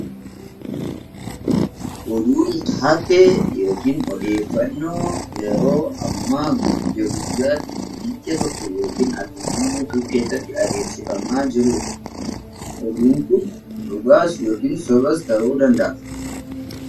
Oduun taatee odeeffannoo yeroo ammaa guyyaa guyyaatti biyya tokko yookiin addunyaa guutuu keessatti adeemsifamaa jirudha. Oduun Kun dhugaas yookiin sobas ta'uu danda'a